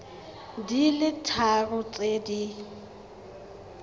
di le tharo tse di